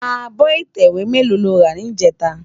Ábò itèwé mèló ló rá nijètá?